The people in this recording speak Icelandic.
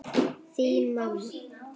Þín mamma.